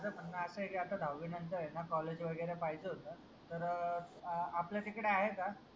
असं ये की आत्ता दहावी नंतर ये ना कॉलेज वैगेरे पाहिजे होत तर अह आपल्या तिकडे आहे का?